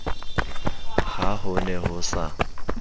ha ho ne ho sa